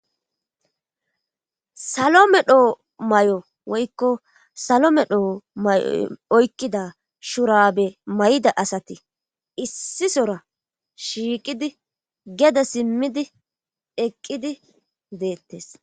salo medho may7o woykko salo medho may7o oykkida shurabe may7da asati issisora shiiqidi geda simmidi eqqidi deettes